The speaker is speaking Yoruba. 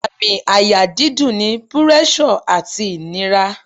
Àmì àyà dídùn ni púrẹ́sọ̀ àti ìnira